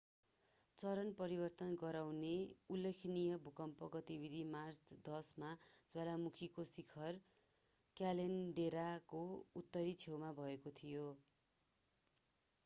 चरण परिवर्तन गराउने उल्लेखनीय भूकम्प गतिविधि मार्च 10 मा ज्वालामुखीको शिखर क्याल्डेराको उत्तरी छेउमा भएको थियो